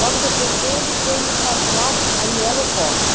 Logo depois dele veio o cardeal Anhelo Rossi.